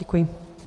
Děkuji.